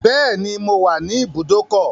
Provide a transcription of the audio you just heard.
Beni, mo wà ní ìbùdókọ̀.